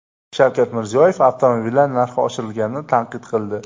Shavkat Mirziyoyev avtomobillar narxi oshirilganini tanqid qildi.